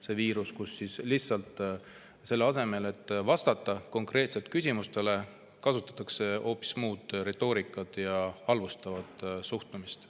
See viirus on selline: selle asemel, et vastata konkreetselt küsimustele, kasutatakse hoopis muud retoorikat ja halvustavat suhtumist.